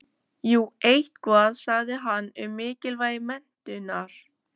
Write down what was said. Jú eitthvað sagði hann um mikilvægi menntunar.